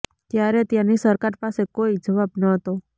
ત્યારે ત્યાંની સરકાર પાસે કોઇ જવાબ ન હતો